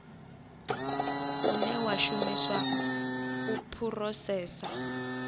une wa shumiswa u phurosesa